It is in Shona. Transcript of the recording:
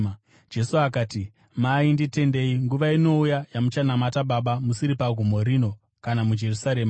Jesu akati, “Mai, nditendei, nguva inouya yamuchanamata Baba musiri pagomo rino kana muJerusarema.